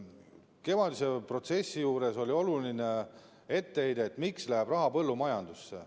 Kevadise protsessi juures oli oluline etteheide, miks läheb raha põllumajandusele.